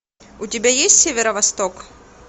у тебя есть северо восток